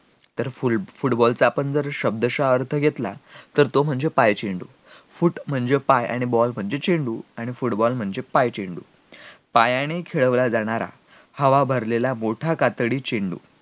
तर football चा आपण जर शब्दशः अर्थ घेतला तर तो म्हणजे पाय चेंडू foot म्हणजे पाय आणि ball म्हणजे चेंडू आणि football म्हणजे पाय चेंडू पायानी खेळवला जाणारा हवा भरलेला मोठा कातडी चेंडू